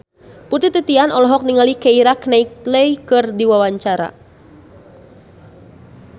Putri Titian olohok ningali Keira Knightley keur diwawancara